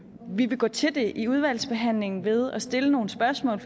vi vil gå til det i udvalgsbehandlingen ved at stille nogle spørgsmål